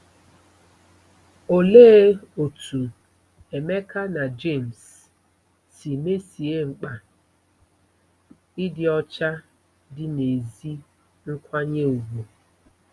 Olee otú Emeka na James si mesie mkpa ịdị ọcha dị n'ezi nkwanye ùgwù?